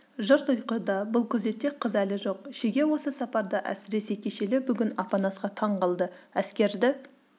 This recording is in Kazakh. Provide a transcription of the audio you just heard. жұрт ұйқыда бұл күзетте қыз әлі жоқ шеге осы сапарда әсіресе кешелі-бүгін апанасқа таң қалды әскерді